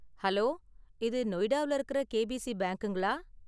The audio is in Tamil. ஹலோ, இது நொய்டாவுல இருக்குற கேபிசி பேங்க்குங்களா?